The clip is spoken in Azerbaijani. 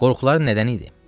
Qorxuları nədən idi?